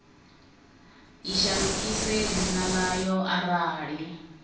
i shandukise dzina ḽayo arali